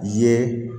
Ye